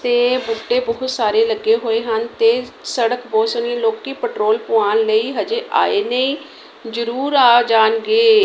ਤੇ ਬੂਟੇ ਬਹੁਤ ਸਾਰੇ ਲੱਗੇ ਹੋਏ ਹਨ ਤੇ ਸੜਕ ਬਹੁਤ ਸੋਹਣੀ ਲੋਕੀ ਪੈਟਰੋਲ ਪਵਾਉਣ ਲਈ ਹਜੇ ਆਏ ਨਹੀਂ ਜਰੂਰ ਆ ਜਾਣਗੇ।